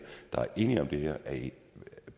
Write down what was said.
der er enige om det her